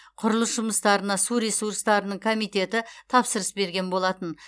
құрылыс жұмыстарына су ресурстарының комитеті тапсырыс берген болатын